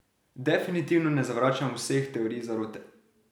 Definitivno ne zavračam vseh teorij zarote.